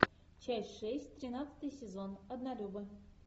часть шесть тринадцатый сезон однолюбы